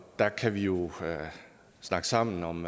der kan vi jo snakke sammen om